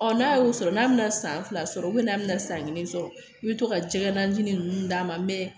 Ɔ n'a y'o sɔrɔ n'a bɛna san fila sɔrɔ n'a bɛna san kelen sɔrɔ i bɛ to ka jɛgɛ najinin ninnu d'a ma mɛ